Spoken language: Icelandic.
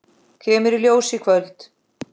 Kemur í ljós í kvöld.